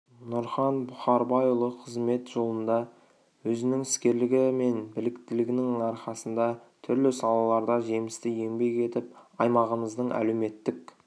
нұрхан бұхарбайұлы қызмет жолында өзінің іскерлігі мен біліктілігінің арқасында түрлі салаларда жемісті еңбек етіп аймағымыздың әлеуметтік